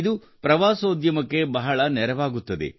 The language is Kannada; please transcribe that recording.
ಇದು ಪ್ರವಾಸೋದ್ಯಮಕ್ಕೆ ಬಹಳ ನೆರವಾಗುತ್ತದೆ